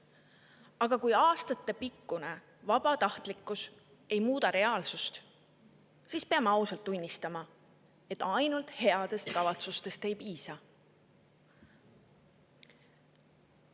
Aga kui aastaid vabatahtlikkus ei ole reaalsust muutnud, siis peame ausalt tunnistama, et ainult headest kavatsustest ei piisa.